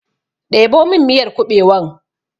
Ɗebo min miyar kuɓewan!